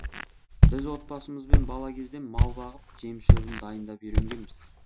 біз отбасымызбен бала кезден мал бағып жем шөбін дайындап үйренгенбіз